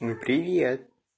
ну привет